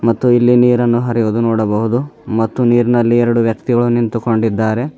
ಮತ್ತು ಇಲ್ಲಿ ನೀರನ್ನು ಹರಿಯುವುದು ನೋಡಬಹುದು ಮತ್ತು ನೀರಿನಲ್ಲಿ ಎರಡು ವ್ಯಕ್ತಿಗಳು ನಿಂತುಕೊಂಡಿದ್ದಾರೆ.